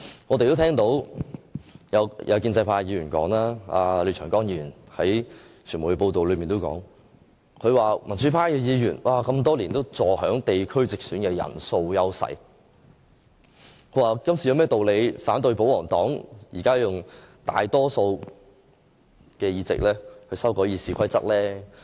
我們也聽到傳媒報道有關建制派廖長江議員的說話，他說民主派議員多年來坐享地區直選的人數優勢，今次他們有何道理反對保皇黨以大多數議席修改《議事規則》？